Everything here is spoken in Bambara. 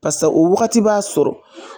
Pasa o wagati b'a sɔrɔ